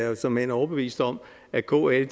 er såmænd overbevist om at kl